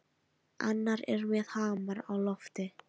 Annar er með hamar á lofti.